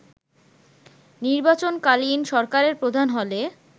নির্বাচনকালীন সরকারের প্রধান হলে